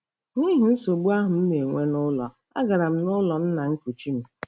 N'ihi nsogbu ahụ m na-enwe n'ụlọ, agara m n'ụlọ nna nkuchi m.